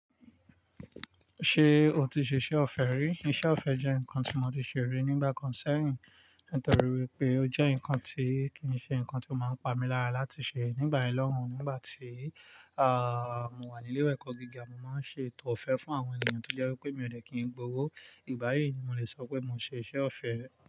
Ṣé o ti ṣe iṣẹ́ ọ̀fẹ́ rí? Iṣẹ́ ọ̀fẹ́ jẹ́ nǹkan tí mo ti ṣe rí nígbà kan sẹ́yìn nítorí wípé ó jẹ́ nǹkan tí kì í ṣe nǹkan tí ó máa ń pa mi lára láti ṣe nígbà yen lọ́hun. Nígbà tí, ààh, mo wà ní ilé ẹ̀kọ́ gíga, mo máa ń ṣe ètò ọ̀fẹ́ fún àwọn ènìyàn tó jẹ́ wípé mi ò de kí n gbówó. Ìgbà yìí ni mo lè sọ pé mo ṣe iṣẹ́ ọ̀fẹ́